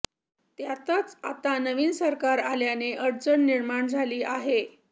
त्यातच आता नवीन सरकार आल्याने अडचण निर्माण झाली आहे